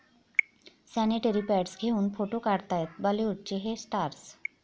sanitary pads घेऊन photo काढतायत बॉलिवूडचे 'हे' स्टार्स